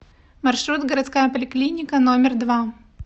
маршрут городская поликлиника номер два